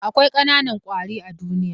Akwai ƙanan kwari a duniya.